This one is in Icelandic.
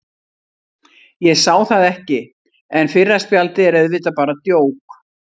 Ég sá það ekki, en fyrra spjaldið er auðvitað bara djók.